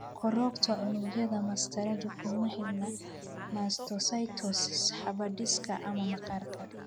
Korodhka unugyada mastaradu kuma xidhna mastocytosis habdhiska ama maqaarka.